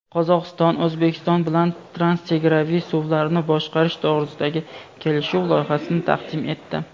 Qozog‘iston O‘zbekiston bilan transchegaraviy suvlarni boshqarish to‘g‘risidagi kelishuv loyihasini taqdim etdi.